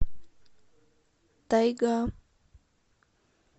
тайга